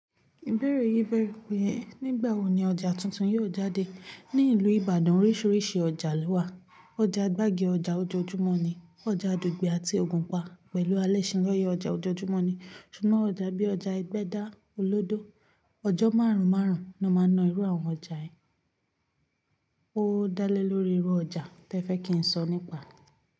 Ibeẹ̀rẹ̀ yí beẹ̀re pé nígbàwọ̀ ni ọjà tuntun yóò jáde? Ní ìlú Ìbàdàn oríṣiríṣi ọjà ló wà. Ọjà gbági ọjà ojoojúmọ́ ni. Ọjà Dugbe àti Ògùnpa pẹ̀lú Alẹ́ṣinlọ́yẹ́ ọjà ojoojúmọ́ ni. Ṣùgbọ́n ọjà bí i ọjà Ẹgbẹ́dá, Olódó, ọjọ́ márùn-ún márùn-ún ló máa ń na irú àwọn ọjà yẹn. Ó dálé lórí irú ọjà tí ẹ fẹ́ kí n sọ nípa.